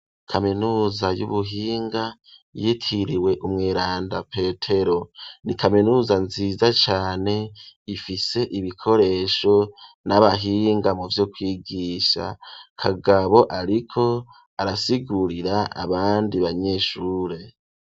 Kaminuza y'ubuhinga, yitiriwe umweranda petero ,ni kaminuza nziza cane ifise ibikoresho ,n'abahinga mu vyo kwigisha, kagabo ariko arasigurira abandi banyeshure.